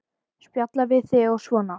Spjalla við þig og svona.